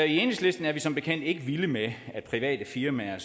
i enhedslisten er vi som bekendt ikke vilde med at private firmaer